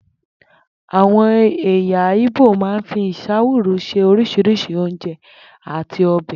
Àwo̩n è̩yà Ìgbò máa ń fi ìs̩áwùrú se orís̩irís̩i oúnje̩ àti o̩bè̩